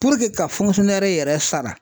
Puruke ka yɛrɛ sara